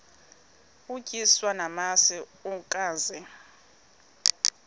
utyiswa namasi ukaze